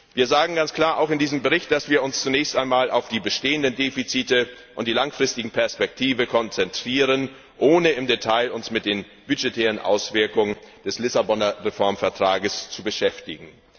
Wir sagen ganz klar auch in diesem Bericht, dass wir uns zunächst einmal auf die bestehenden Defizite und die langfristige Perspektive konzentrieren, ohne uns im Detail mit den budgetären Auswirkungen des Lissaboner Reformvertrags zu beschäftigen.